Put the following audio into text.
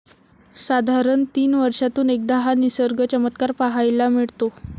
साधारण तीन वर्षातून एकदा हा निसर्ग चमत्कार पाहायला मिळतो.